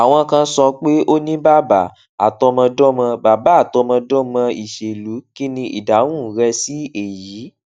àwọn kan sọ pé o ní bàbá àtọmọdómọ bàbá àtọmọdómọ ìṣèlú kí ni ìdáhùn rẹ sí èyí